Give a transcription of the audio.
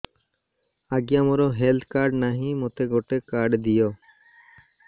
ଆଜ୍ଞା ମୋର health card ନାହିଁ ମୋତେ ଗୋଟେ କାର୍ଡ ଦିଅ